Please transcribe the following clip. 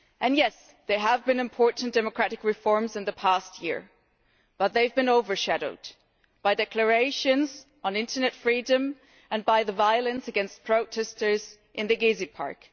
Yes, there have been important democratic reforms in the past year but they have been overshadowed by declarations on internet freedom and by the violence against protestors in Gezi Park.